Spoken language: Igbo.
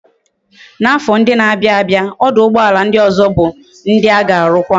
Na afo ndi na abia abia, oduugboala ndi ozo bu ndi a ga arukwa